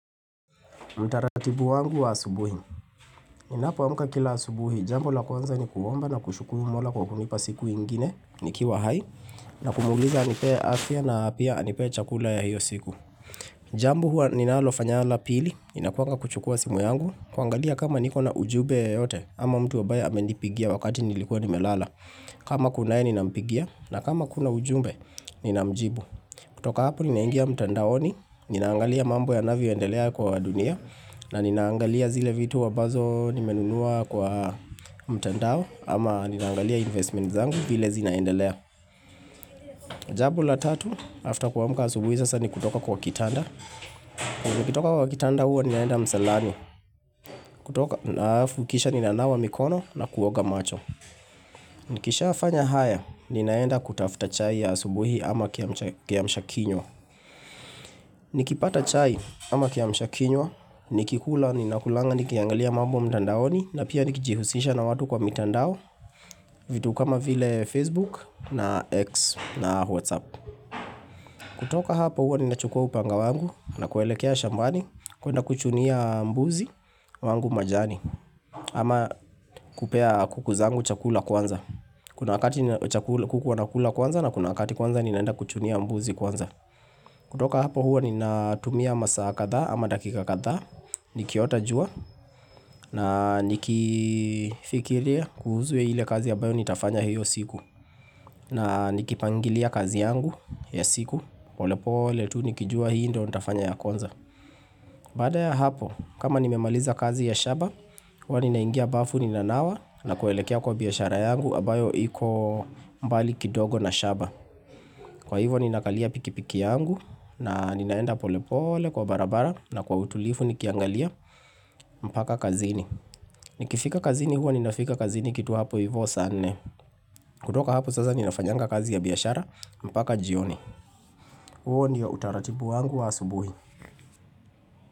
Mtaratibu wangu wa asubuhi Ninapoamka kila asubuhi, jambo la kwanza ni kuomba na kushukuru Mola kwa kunipa siku ingine ni kiwa hai na kumuuliza anipe afya na pia anipe chakula ya hiyo siku Jambo huwa ninalofanya la pili, inakuanga kuchukua simu yangu kuangalia kama niko na ujumbe yeyote ama mtu ambaye amenipigia wakati nilikuwa nimelala kama kunaye ninampigia na kama kuna ujumbe ninamjibu kutoka hapo ninaingia mtandaoni, ninaangalia mambo yanayvo endelea kwa dunia na ninaangalia zile vitu wambazo nimenunua kwa mtandao ama ninaangalia investment zangu vile zinaendelea. Jambo la tatu, after kuamka asubuhi sasa ni kutoka kwa kitanda. Kwa kutoka kwa kitanda huwa ninaenda msalani. Kutoka na halafu, kisha ninanawa mikono na kuoga macho. Nikishafanya haya, ninaenda kutafuta chai ya asubuhi ama kiamshakinywa. Nikipata chai ama kiamshakinywa nikikula, ninakulanga, nikiangalia mambo mtandaoni na pia nikijihusisha na watu kwa mitandao vitu kama vile Facebook na X na Whatsapp kutoka hapo huwa ninachukua upanga wangu na kuelekea shambani kuenda kuchunia mbuzi wangu majani ama kupea kuku zangu chakula kwanza Kuna wakati kuku wanakula kwanza na kuna wakati kwanza ninaenda kuchunia mbuzi kwanza kutoka hapo huwa ninatumia masaa kadhaa ama dakika kadhaa Nikiota jua na nikifikiria kuhusu ile kazi ambayo Nitafanya hiyo siku na nikipangilia kazi yangu ya siku polepole tu nikijua hii ndo nitafanya ya kwanza Baada ya hapo kama nimemaliza kazi ya shamba Huwa ninaingia bafu ninanawa na kuelekea kwa biashara yangu ambayo iko mbali kidogo na shamba Kwa hivo ninakalia pikipiki yangu na ninaenda polepole kwa barabara na kwa utulivu nikiangalia mpaka kazini Nikifika kazini huwa ninafika kazini kitu hapo hivo saa nne kutoka hapo sasa ninafanyanga kazi ya biashara mpaka jioni huo ndio utaratibu wangu wa asubuhi.